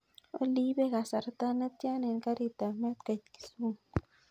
Olly ipe kasarta netian en karit ap maat koit kisumu